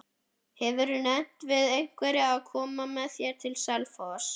Hefurðu nefnt við einhverja að koma með þér til Selfoss?